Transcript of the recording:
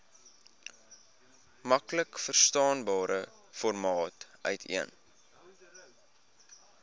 maklikverstaanbare formaat uiteen